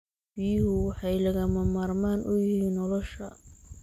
Biyuhu waxay lagama maarmaan u yihiin nolosha.